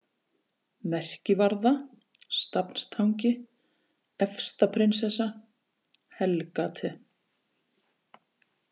Merkivarða, Stafnstangi, Efsta-Prinsessa, Hellgate